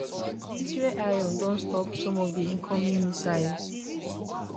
israel iron dome stop some of di incoming missiles